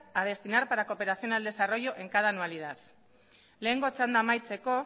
a destinar para cooperación al desarrollo en cada anualidad lehenengo txanda amaitzeko